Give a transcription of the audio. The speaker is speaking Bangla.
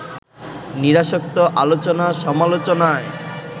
নিরাসক্ত আলোচনা-সমালোচনায়